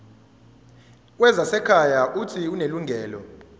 wezasekhaya uuthi unelungelo